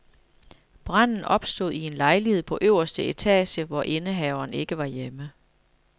Branden opstod i en lejlighed på øverste etage, hvor indehaveren ikke var hjemme.